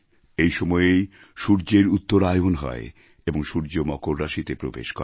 এই সময়েই সূর্যের উত্তরায়ণ হয় এবং সূর্য মকর রাশিতে প্রবেশ করে